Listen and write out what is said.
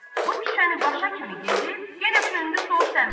Bu küçəni başa kimi gedib yenə döndü sol səmtə.